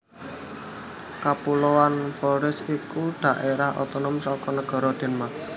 Kapuloan Faroe iku dhaérah otonom saka negara Denmark